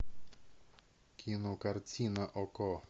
кинокартина окко